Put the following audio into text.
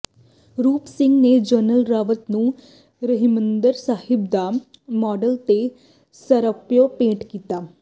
ਰੂਪ ਸਿੰਘ ਨੇ ਜਨਰਲ ਰਾਵਤ ਨੂੰ ਹਰਿਮੰਦਰ ਸਾਹਿਬ ਦਾ ਮਾਡਲ ਤੇ ਸਿਰੋਪਾਓ ਭੇਟ ਕੀਤਾ